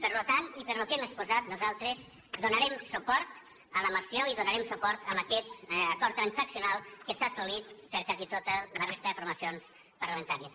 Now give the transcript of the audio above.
per tant i pel que hem exposat nosaltres donarem suport a la moció i donarem suport a aquest acord transaccional que s’ha assolit per quasi tota la resta de formacions parlamentàries